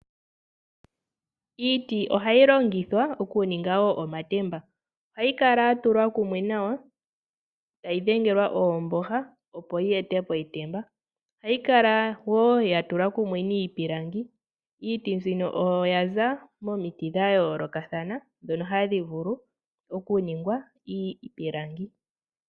Iiti ohayi longithwa okuninga wo omatemba. Ohayi kala ya tulwa kumwe nawa, tayi dhengelwa oomboha, opo yi ete po etemba. Ohayi kala wo ya tulwa kumwe niipilangi. Iiti mbino oya za komiti dha yoolokathana ndhono hadhi vulu okuningwa iipilangi.